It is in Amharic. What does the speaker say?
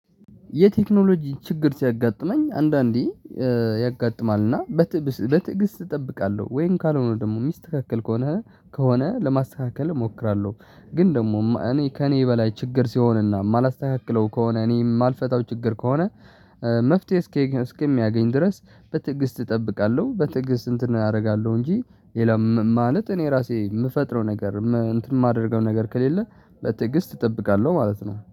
የቴክኖሎጂ ችግር ሲያጋጥመኝ አንዳንዴ ያጋጥማል እና በትዕብስ በትዕግስት እጠብቃለሁ ወይም ካልሆነ ደግሞ የሚስትክክል ከሆነ ከሆነ ለማስተካከል እሞክራለሁ። ግን ደግሞ እኔ ከእኔ በላይ ችግር ሲሆንና የማላስተካክለው ከሆነ እኔ የማልፈታው ችግር ከሆነ መፍትሄ እስከሚያገኝ ድረስ በትግስት እጠብቃለሁ። በትግስት እንትን አደርጋለሁ እንጂ ሌላ ማለት እኔ ራሴ የምፈጥረው ነገር እንትን የማደርገው ነገር ከሌለ በትግስት እጠብቃለሁ ማለት ነው